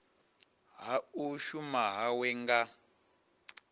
ha u shuma hawe nga